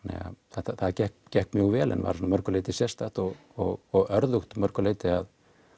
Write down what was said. það gekk gekk mjög vel en var að mörgu leyti sérstakt og og örðugt að mörgu leyti að